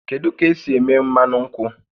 Kedu ka esi eme mmanụ nkwụ?